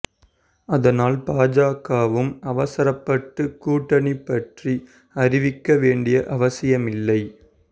அதனால் பாஜகவும் அவசரப்பட்டு கூட்டணி பற்றி அறிவிக்க வேண்டிய அவசியம் இல்லை